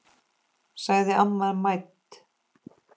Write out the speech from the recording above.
sagði amma mædd.